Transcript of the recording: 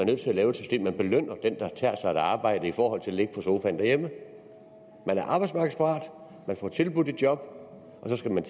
nødt til at lave et system hvor vi belønner dem der tager et arbejde i stedet for at ligge på sofaen hjemme man er arbejdsmarkedsparat man får tilbudt et job og så skal man